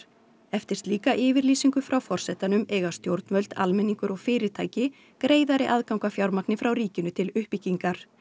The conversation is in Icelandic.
eftir slíka yfirlýsingu frá forsetanum eiga stjórnvöld almenningur og fyrirtæki greiðari aðgang að fjármagni frá ríkinu til uppbyggingar